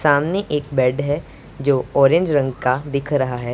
सामने एक बेड है जो ऑरेंज रंग का दिख रहा है।